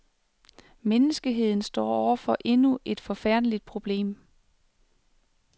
Menneskeheden står over for endnu et forfærdeligt problem.